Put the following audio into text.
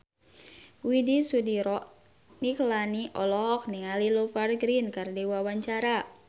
Widy Soediro Nichlany olohok ningali Rupert Grin keur diwawancara